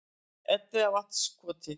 Elliðavatnskoti